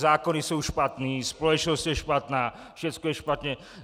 Zákony jsou špatné, společnost je špatná, všechno je špatně.